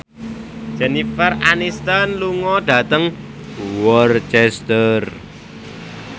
Jennifer Aniston lunga dhateng Worcester